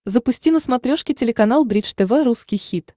запусти на смотрешке телеканал бридж тв русский хит